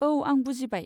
औ, आं बुजिबाय।